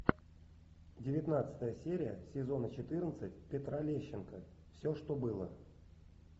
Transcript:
девятнадцатая серия сезона четырнадцать петра лещенко все что было